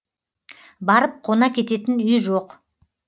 барып қона кететін үй жоқ